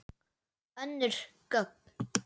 Önnur gögn.